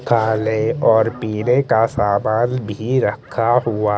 खाने और पीने का सामान भी रखा हुआ--